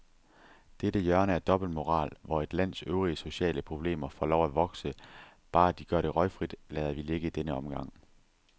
Dette hjørne af dobbeltmoral, hvor et lands øvrige sociale problemer får lov at vokse, bare de gør det røgfrit, lader vi ligge i denne omgang.